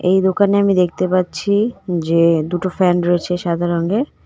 এই দোকানে আমি দেখতে পাচ্ছি যে দুটো ফ্যান রয়েছে সাদা রঙের।